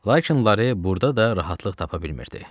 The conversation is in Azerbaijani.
Lakin Lare burda da rahatlıq tapa bilmirdi.